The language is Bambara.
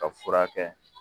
Ka furakɛ